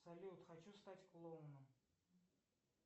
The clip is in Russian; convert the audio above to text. салют хочу стать клоуном